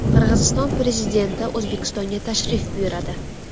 Qirg‘iziston prezidenti O‘zbekistonga tashrif buyuradi.